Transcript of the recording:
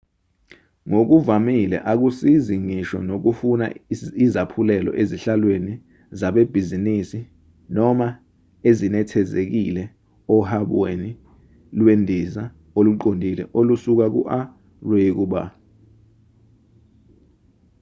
ngokuvamile akusizi ngisho nokufuna izaphulelo ezihlalweni zabebhizinisi noma ezinethezekile ohabweni lwendiza oluqondile olusuka ku-a luye ku-b